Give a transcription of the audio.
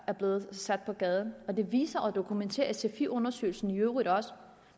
er blevet sat på gaden det viser og dokumenterer sfi undersøgelsen i øvrigt også